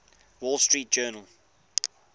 wall street journal